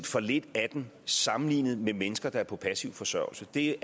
for lidt af den sammenlignet med mennesker der er på passiv forsørgelse det